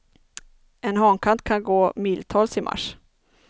En hankatt kan gå miltals i mars.